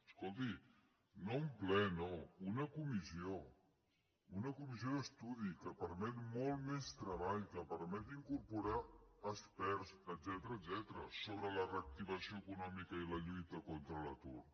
escolti no un ple no una comissió una comissió d’estudi que permet molt més treball que permet incorporar experts etcètera sobre la reactivació econòmica i la lluita contra l’atur